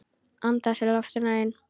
Anda að sér loftinu ein.